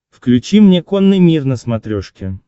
включи мне конный мир на смотрешке